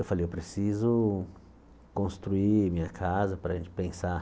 Eu falei, eu preciso construir minha casa para a gente pensar